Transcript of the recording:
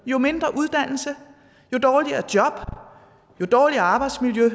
jo mindre uddannelse jo dårligere job jo dårligere arbejdsmiljø jo